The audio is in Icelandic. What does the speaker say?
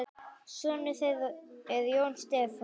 Sonur þeirra er Jón Stefán.